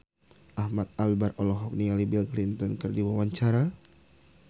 Ahmad Albar olohok ningali Bill Clinton keur diwawancara